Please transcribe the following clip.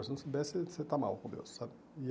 Se não souber, você você está mal com Deus, sabe? E